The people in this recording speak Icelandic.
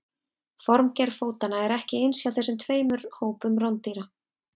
Formgerð fótanna er ekki eins hjá þessum tveimur hópum rándýra.